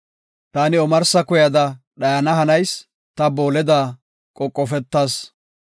Ta omarsa kuyada dhayana hanayis; ta booleda qoqofetas.